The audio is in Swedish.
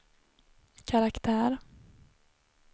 karaktär